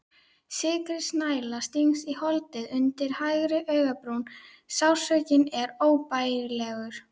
Sikkrisnæla stingst í holdið undir hægri augabrún, sársaukinn er óbærilegur.